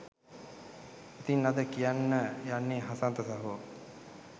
ඉතින් අද කියන්න යන්නේ හසන්ත සහෝ